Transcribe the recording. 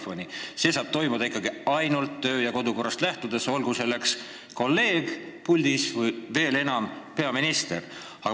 See saab ikkagi toimuda ainult Riigikogu töö- ja kodukorrast lähtudes, olgu tegu kolleegiga puldis või veel enam – peaministriga.